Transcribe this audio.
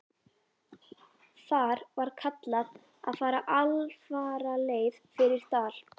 Þar var kallað að fara alfaraleið fyrir dal.